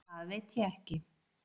Það veit ég ekki.